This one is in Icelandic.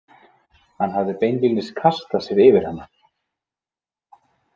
Hann hafði beinlínis kastað sér yfir hana.